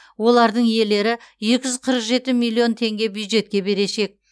олардың иелері екі жүз қырық жеті миллион теңге бюджетке берешек